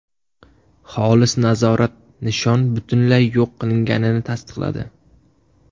Xolis nazorat nishon butunlay yo‘q qilinganini tasdiqladi.